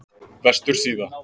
Vestursíðu